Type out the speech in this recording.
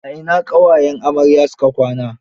A ina ƙawayen amarya su ka kwana.